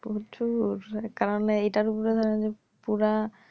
প্রচুর কারণ এইটার উপরে ধরেন পুরা